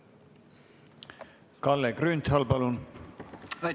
Kalle Grünthal, palun!